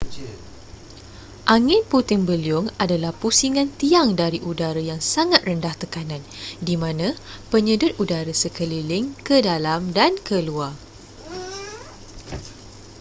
angin puting beliung adalah pusingan tiang dari udara yang sangat rendah tekanan di mana penyedut udara sekeliling ke dalam dan keluar